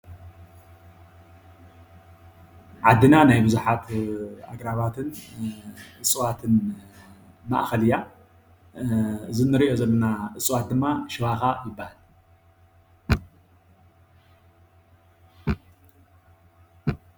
ዓድና ናይ ቡዙሓት ኣግራባትን እፅዋትን ማእኸል እያ። እዙ እንሪኦ ዘለና እፅዋት ድማ ሽባኻ ይበሃል።